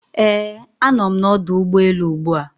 Ee, a nọ m n'ọdụ ụgbọ elu ugbua.